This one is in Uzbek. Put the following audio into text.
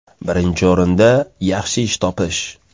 Birinchi o‘rinda – yaxshi ish topish.